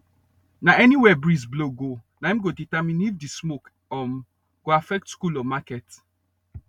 nah anywhere breeze blow go naim go determine if the smoke um go affect school or market